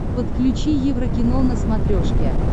подключи еврокино на смотрешке